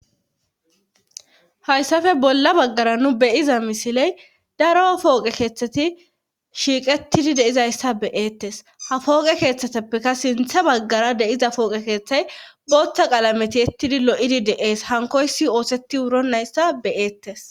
Hayssafe bolla baggara nu beyiza misiley daro pooqe keeththeti shiiqettidi deizayssa beyeettes ha fooqe keeththeteppeka sinthe baggara deiza pooqe keeththay booththa qalameti ettidi lo7idi de'ees hankoysi ooseti wuro nayssa beyeettes.